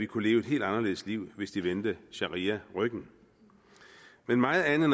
kunne leve et helt anderledes liv hvis de vendte sharia ryggen men meget andet